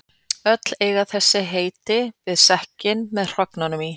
Öll eiga þessi heiti við sekkinn með hrognunum í.